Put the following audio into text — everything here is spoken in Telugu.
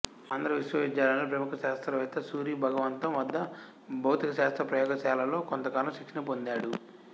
ఆంధ్ర విశ్వవిద్యాలయంలో ప్రముఖ శాస్త్రవేత్త సూరి భగవంతం వద్ద భౌతిక శాస్త్ర ప్రయోగ శాలలో కొంతకాలం శిక్షణ పొందాడు